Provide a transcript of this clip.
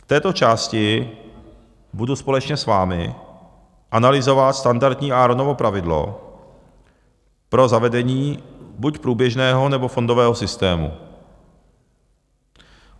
V této části budu společně s vámi analyzovat standardní Aaronovo pravidlo pro zavedení buď průběžného, nebo fondového systému.